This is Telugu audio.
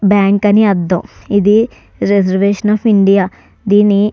బ్యాంకు అని అర్ధం ఇది రిజర్వేషన్ అఫ్ ఇండియా దీన్ని --